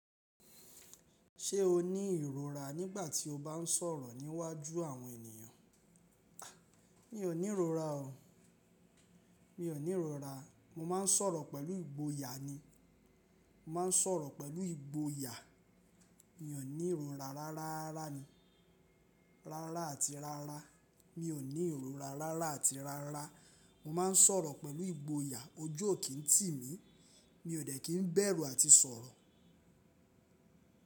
Ṣé o ní ìrora nígbà tí o bá ń sọ̀rọ̀ níwájú àwọn ènìyàn? A! Mi ò ní ìrora o. Mi ò ní ìrora. Mo máa ń sọ̀rọ̀ pẹ̀lú ìgboyà ni. Mo máa ń sọ̀rọ̀ pẹ̀lú ìgboyà. Mi ò ní ìrora rárá rárá ni. Rárá àti rárá. Mi ò ní ìrora rárá àti rárá. Mo máa ń sọ̀rọ̀ pẹ̀lú ìgboyà, ojú ò kí ń tì mí. Mi ò dẹ̀ kí ń bẹ̀rù àti sọ̀rọ̀.